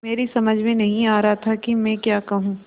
मेरी समझ में नहीं आ रहा था कि मैं क्या कहूँ